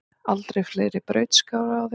Aldrei fleiri brautskráðir